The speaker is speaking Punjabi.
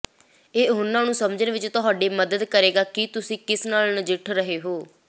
ਇਹ ਉਹਨਾਂ ਨੂੰ ਸਮਝਣ ਵਿੱਚ ਤੁਹਾਡੀ ਮਦਦ ਕਰੇਗਾ ਕਿ ਤੁਸੀਂ ਕਿਸ ਨਾਲ ਨਜਿੱਠ ਰਹੇ ਹੋ